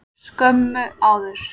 Skömmu áður.